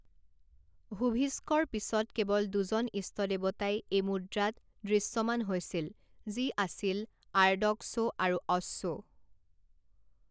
হুভিস্কৰ পিছত কেৱল দুজন ইষ্টদেৱতাই এই মুদ্ৰাত দৃশ্যমান হৈছিল যি আছিল আৰ্ড'ক্সো আৰু অ'শ্বো।